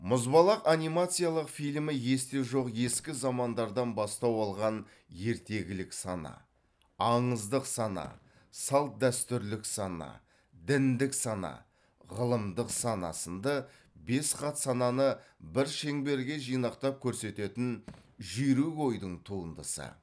мұзбалақ анимациялық фильмі есте жоқ ескі замандардан бастау алған ертегілік сана аңыздық сана салт дәстүрлік сана діндік сана ғылымдық сана сынды бес қат сананы бір шеңберге жинақтап көрсететін жүйрік ойдың туындысы